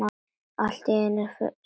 Allt er einu sinni fyrst.